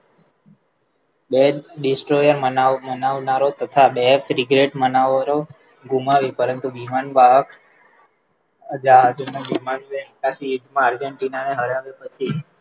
બે દિવસોને મનાવનારો તથા બે Figarette મનાવરો ગુમાવ્યું પરંતુ વિમાનમાં વાહક જહાજોના વિમાન Margin Tina ના હરાવ્યું